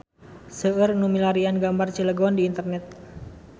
Seueur nu milarian gambar Cilegon di internet